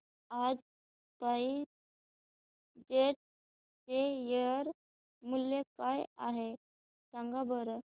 आज SpiceJet चे share मूल्य काय आहे सांगा बरं